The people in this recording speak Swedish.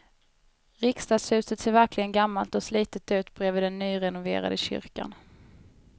Riksdagshuset ser verkligen gammalt och slitet ut bredvid den nyrenoverade kyrkan.